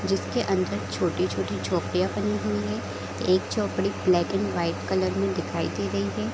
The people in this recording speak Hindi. जिसके अंदर छोटी-छोटी झोपड़ियाँ बनी हुई है एक झोपड़ी ब्लैक एंड वाइट कलर में दिखाई दे रही है ।